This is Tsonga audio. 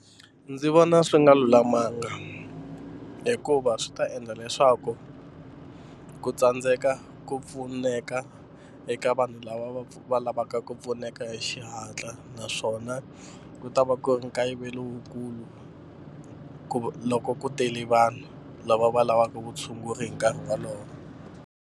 Ndzi vona swi nga lulamanga hikuva swi ta endla leswaku ku tsandzeka ku pfuneka eka vanhu lava va lavaka ku pfuneka hi xihatla naswona ku ta va ku nkayivelo wukulu ku loko ku tele vanhu lava va lavaka vutshunguri hi nkarhi wolowo.